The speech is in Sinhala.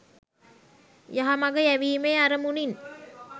යහමග යැවීමේ අරමුණින්